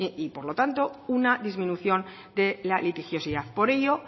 y por lo tanto una disminución de la litigiosidad por ello